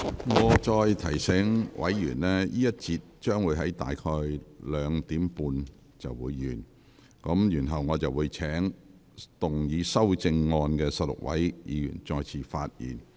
我再次提醒委員，這個環節的辯論將於下午2時30分左右結束，然後我會請動議修正案的16位議員再次發言。